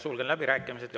Sulgen läbirääkimised.